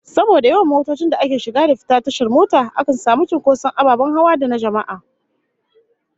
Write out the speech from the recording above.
Saboda yawan motocin da ke shiga da fita tashar mota, akan samu cinkoson ababen hawa da na jama'a